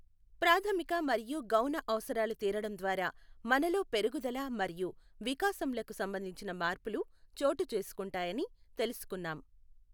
ప్రాధమిక మరియు గౌణ అవసరాలు తీరడం ద్వారా మనలో పెరుగుదల మరియు వికాసంలకు సంబంధించిన మార్పులు చోటు చేసుకుంటాయని తెలుసుకున్నాం.